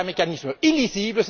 C'est un mécanisme illisible.